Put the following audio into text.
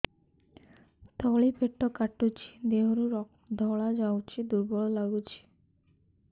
ତଳି ପେଟ କାଟୁଚି ଦେହରୁ ଧଳା ଯାଉଛି ଦୁର୍ବଳ ଲାଗୁଛି